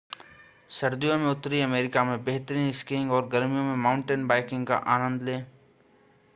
सर्दियों में उत्तरी अमेरिका में बेहतरीन स्कीइंग और गर्मियों में माउंटेन बाइकिंग का आनंद लें